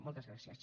moltes gràcies